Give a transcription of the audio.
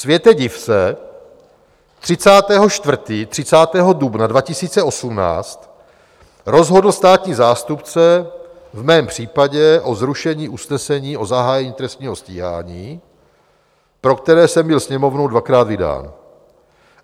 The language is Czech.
Světe div se, 30. 4., 30. dubna 2018 rozhodl státní zástupce v mém případě o zrušení usnesení o zahájení trestního stíhání, pro které jsem byl Sněmovnou dvakrát vydán.